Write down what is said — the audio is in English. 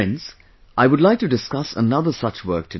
Friends, I would like to discuss another such work today